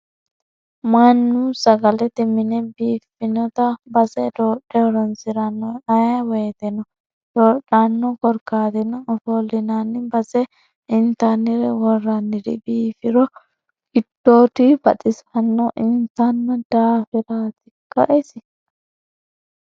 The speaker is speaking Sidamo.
Mannu sagalate mine biifinotta hase doodhe horonsirano ayee woyteno doodhano korkaatino ofollinanni base intannire woraniri biifiro giddodi baxisana intanni daafiratikka isi ?